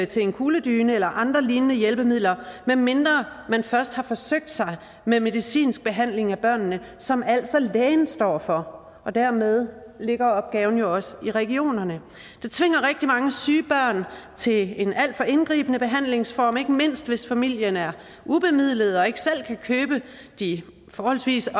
til en kugledyne eller andre lignende hjælpemidler medmindre man først har forsøgt sig med medicinsk behandling af børnene som altså lægen står for og dermed ligger opgaven jo også i regionerne det tvinger rigtig mange syge børn til en alt for indgribende behandlingsform ikke mindst hvis familien er ubemidlet og ikke selv kan købe de forholdsvis